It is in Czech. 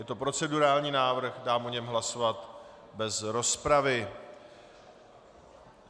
Je to procedurální návrh, dám o něm hlasovat bez rozpravy.